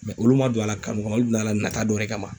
olu ma don a la kanu kama , olu bɛna na taa dɔ wɛrɛ kama.